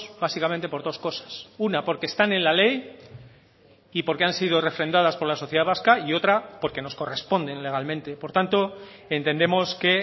básicamente por dos cosas una porque están en la ley y porque han sido refrendadas por la sociedad vasca y otra porque nos corresponde legalmente por tanto entendemos que